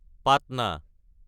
Patna